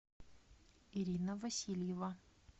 ирина васильева